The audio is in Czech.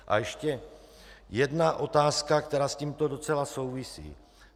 A ještě jedna otázka, která s tímto docela souvisí.